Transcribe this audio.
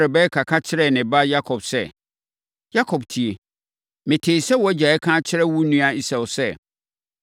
Rebeka ka kyerɛɛ ne ba Yakob sɛ, “Yakob tie! Metee sɛ wʼagya reka akyerɛ wo nua Esau sɛ,